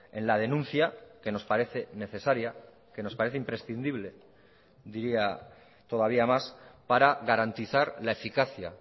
en la denuncia que nos parece necesaria que nos parece imprescindible diría todavía más para garantizar la eficacia